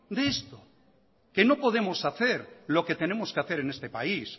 de esto que no podemos hacer lo que tenemos que hacer en este país